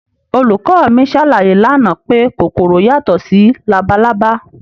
Olùkọ́ mi ṣàlàyé lánàá pé kòkòrò yàtọ̀ sí labalábá